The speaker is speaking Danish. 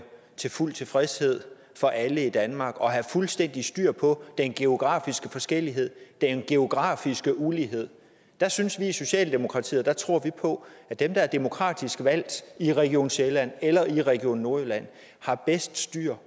til fuld tilfredshed for alle i danmark og have fuldstændig styr på den geografiske forskellighed den geografiske ulighed der synes vi i socialdemokratiet og der tror vi på at dem der er demokratisk valgt i region sjælland eller i region nordjylland har bedst styr